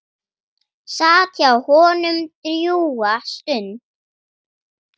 Sat hjá honum drjúga stund.